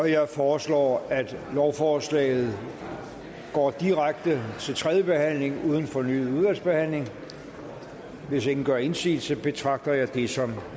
jeg foreslår at lovforslaget går direkte til tredje behandling uden fornyet udvalgsbehandling hvis ingen gør indsigelse betragter jeg det som